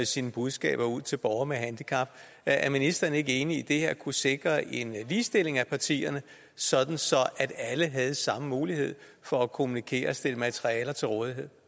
sine budskaber ud til borgere med handicap er ministeren ikke enig i at kunne sikre en ligestilling af partierne sådan at alle havde samme mulighed for at kommunikere og stille materialer til rådighed